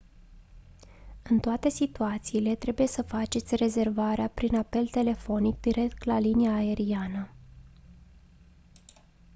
în toate situațiile trebuie să faceți rezervarea prin apel telefonic direct la linia aeriană